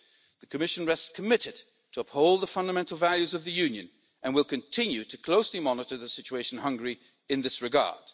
The Commission remains committed to upholding the fundamental values of the Union and will continue to closely monitor the situation in Hungary in this regard.